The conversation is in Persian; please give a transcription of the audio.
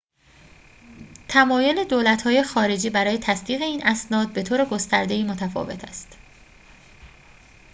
تمایل دولت‌های خارجی برای تصدیق این اسناد بطور گسترده‌ای متفاوت است